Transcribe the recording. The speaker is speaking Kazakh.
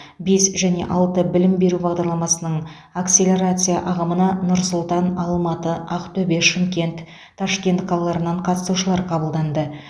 бес және алты білім беру бағдарламасының акселерация ағымына нұр сұлтан алматы ақтөбе шымкент ташкент қалаларынан қатысушылар қабылданды